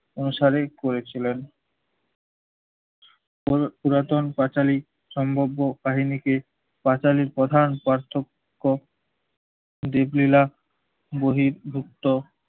অনুসারেই করেছিলেন। উর রতন পাঁচালী সম্ভব্য কাহিনীকে পাঁচালীর প্রধান পার্থক্য দিকলীলা বহির্ভুক্ত